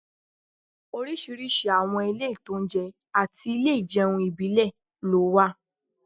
Oríṣiríṣi àwọn ilé-ìtańjẹ àti ilé ìjẹun ìbílẹ̀ ló wà